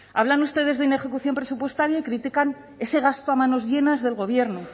hablan ustedes de inejecución presupuestaria y critican ese gasto a manos llenas del gobierno